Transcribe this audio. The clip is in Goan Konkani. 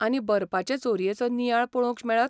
आनी बरपाचे चोरयेचो नियाळ पळोवंक मेळत?